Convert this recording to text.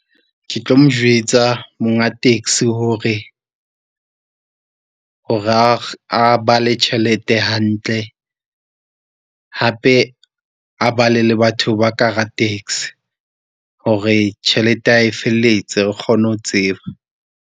Ke tlo mo jwetsa monga taxi hore a ba le tjhelete hantle, hape a bale le batho ba ka hara taxi hore tjhelete ya hae e felletse. Re kgone ho tseba.